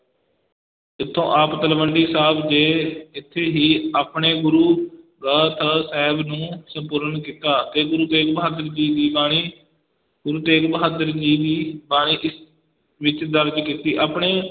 ਇਥੋਂ ਆਪ ਤਲਵੰਡੀ ਸਾਬ ਦੇ, ਇਥੇ ਹੀ ਆਪਣੇ ਗੁਰੂ ਗ੍ਰੰਥ ਸਾਹਿਬ ਨੂੰ ਸੰਪੂਰਨ ਕੀਤਾ ਤੇ ਗੁਰੂ ਤੇਗ ਬਹਾਦਰ ਜੀ ਦੀ ਬਾਣੀ, ਗੁਰੂ ਤੇਗ ਬਹਾਦਰ ਜੀ ਦੀ ਬਾਣੀ ਇਸ ਵਿਚ ਦਰਜ ਕੀਤੀ, ਆਪਣੇ